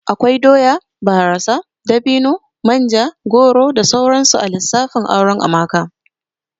Akwai doya, barasa, dabino, manja, goro da sauransu a lissafin auren Amaka